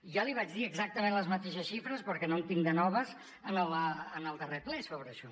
ja li vaig dir exactament les mateixes xifres perquè no en tinc de noves en el darrer ple sobre això